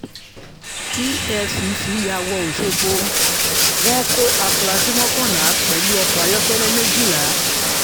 efcc ya wọ òṣogbo wọn kó afurasí mọ́kànlá pẹ̀lú ọkọ̀ ayọ́kẹ́lẹ́ méjìlá